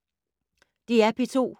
DR P2